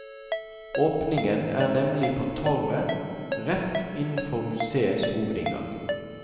Åpningen er nemlig på torvet rett innenfor museets hovedinngang.